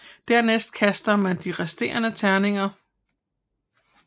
Dernæst kaster man de resterende terninger